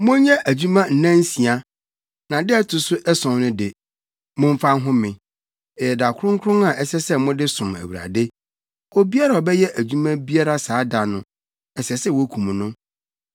Monyɛ adwuma nnansia. Na da a ɛto so ason no de, momfa nhome; ɛyɛ da kronkron a ɛsɛ sɛ mode som Awurade. Obiara a ɔbɛyɛ adwuma biara saa da no, ɛsɛ sɛ wokum no.